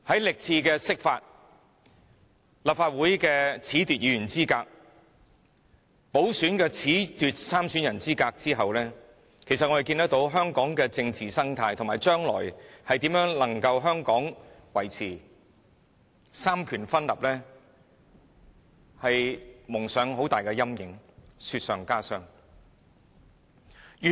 歷次釋法、褫奪立法會議員資格、褫奪補選參選人資格事件，令香港的政治生態，以及將來如何維持三權分立蒙上很大陰影，雪上加霜。